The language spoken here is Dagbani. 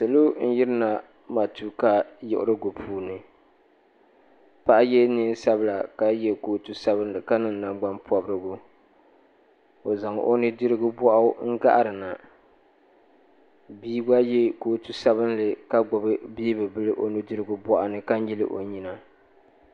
Salo n yiri na matuuka yiɣirigu puuni paɣa yɛ niɛn sabila ka yɛ kootu sabinli ka niŋ nangbanpɔbirigu o zaŋ o nudirigu bɔɣu n gahiri na bia gba yɛ kootu sabinli ka gbubi beebi bila o nudirigu bɔɣu ni ka nyili o nyina.